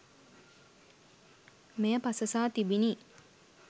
මෙය පසසා තිබිණි